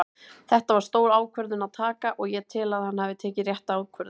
Þetta var stór ákvörðun að taka og ég tel að hann hafi tekið rétta ákvörðun.